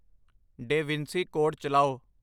Da Vinci code ਚਲਾਓ